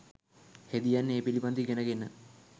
හෙදියන් ඒ පිළිබඳව ඉගෙන ගෙන